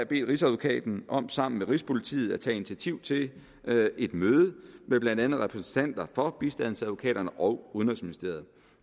bedt rigsadvokaten om sammen med rigspolitiet at tage initiativ til et møde med blandt andet repræsentanter for bistandsadvokaterne og udenrigsministeriet